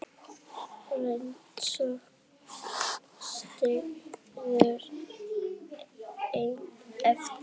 Rannsókn stendur enn yfir